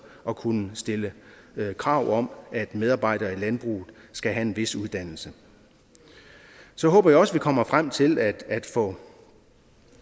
at kunne stille krav om at medarbejdere i landbruget skal have en vis uddannelse så håber jeg også at vi kommer frem til at